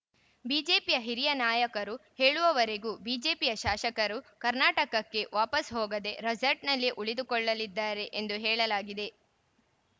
ಬಿಜೆಪಿಯ ಹಿರಿಯ ನಾಯಕರು ಹೇಳುವವರೆಗೂ ಬಿಜೆಪಿಯ ಶಾಸಕರು ಕರ್ನಾಟಕಕ್ಕೆ ವಾಪಸ್‌ ಹೋಗದೇ ರೆಸಾರ್ಟ್‌ನಲ್ಲೇ ಉಳಿದುಕೊಳ್ಳಲಿದ್ದಾರೆ ಎಂದು ಹೇಳಲಾಗಿದೆ